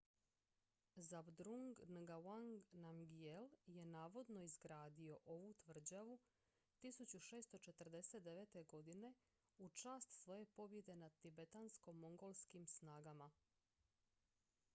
zhabdrung ngawang namgyel je navodno izgradio ovu tvrđavu 1649. godine u čast svoje pobjede nad tibetansko-mongolskim snagama